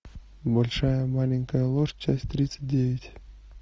большая маленькая ложь часть тридцать девять